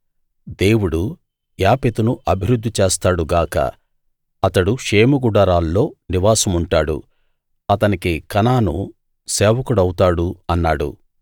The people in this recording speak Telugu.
దేవుడు యాపెతును అభివృద్ధి చేస్తాడు గాక అతడు షేము గుడారాల్లో నివాసం ఉంటాడు అతనికి కనాను సేవకుడవుతాడు అన్నాడు